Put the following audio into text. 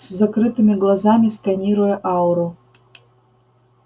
с закрытыми глазами сканируя ауру